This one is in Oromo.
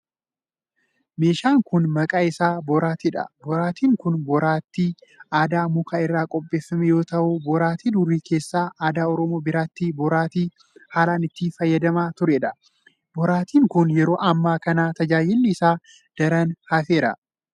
Meeshaan kun maqaan isaa boraatii dha. Boraatin kun boraatii aadaa muka irraa qopheeffame yoo ta'u, baroota durii keessa aadaa Oromoo biratti boraatii haalan itti fayyadamamaa turedha. Boraatin kun, yeroo ammaa kana tajaajilli isaa daran hafeera.